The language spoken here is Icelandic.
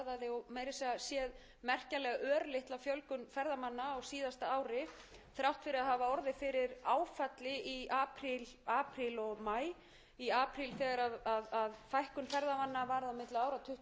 og maí í apríl þegar fækkun ferðamanna á milli ára varð tuttugu og tvö prósent og í maí fimmtán prósent og það hlýtur að